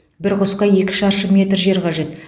бір құсқа екі шаршы метр жер қажет